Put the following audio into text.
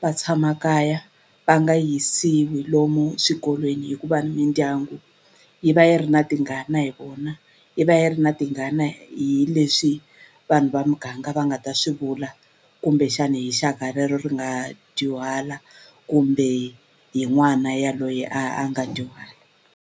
va tshama kaya va nga yisiwi lomu swikolweni hikuva ni mindyangu yi va yi ri na tingana hi vona yi va yi ri na tingana hi leswi vanhu va muganga va nga ta swi vula kumbexani hi xaka rero ri nga dyuhala kumbe hi n'wana yaloye a a nga dyuhala.